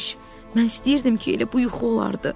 Mən istəyirdim ki, elə bu yuxu olardı.